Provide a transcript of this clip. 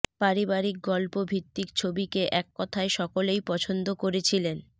পারিবারিক গল্প ভিত্তিক ছবিকে এক কথায় সকলেই পছন্দ করেছিলেন